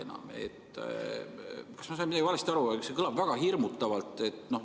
Ma ei tea, kas ma sain midagi valesti aru, aga see kõlab väga hirmutavalt.